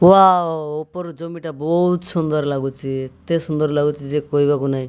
Bio ଉପରୁ ଜମିଟା ବହୁତ୍ ସୁନ୍ଦର ଲାଗୁଚି ଏତେ ସୁନ୍ଦର ଲାଗୁଚି ଯେ କହିବାକୁ ନାହିଁ।